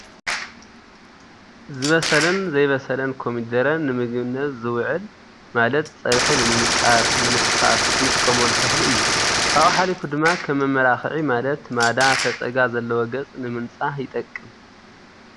ዝበዘለን ዘይበሰለን ኮሚደረ ንምግብነት ዝውዕል፤ ማለት ፀብሒ ንምቃርን ንምሕፋስ እነጥቀመሉ ተክሊ እዩ ፤ ካብኡ ሓሊፉ ድማ ከም መመላክዒ ማለት ማዳ፣ ፈፀጋ፣ ዘለዎ ገፅ ንምፃህ ይጠቅም።